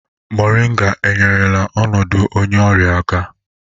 Moringa enyerela ọnọdụ onye ọrịa aka?